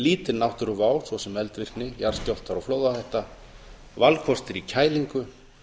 lítil náttúruvá svo sem eldvirkni jarðskjálftar og flóðahætta valkostir í kælingu